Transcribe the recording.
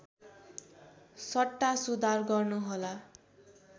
सट्टा सुधार गर्नुहोला